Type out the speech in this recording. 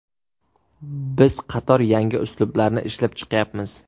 Biz qator yangi uslublarni ishlab chiqyapmiz.